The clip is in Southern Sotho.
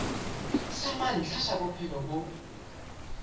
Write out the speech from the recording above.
sa mantlha sa bophelo bo